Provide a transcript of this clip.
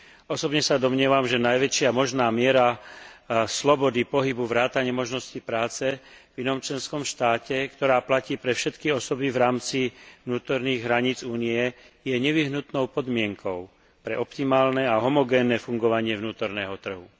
Osobne sa domnievam, že najväčšia možná miera slobody pohybu vrátane možnosti práce v inom členskom štáte, ktorá platí pre všetky osoby v rámci vnútorných hraníc Únie, je nevyhnutnou podmienkou pre optimálne a homogénne fungovanie vnútorného trhu.